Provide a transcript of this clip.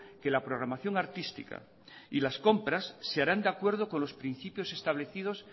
que la programación artística y las compras se harán de acuerdo con los principios establecidos